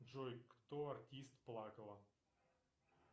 джой кто артист плакала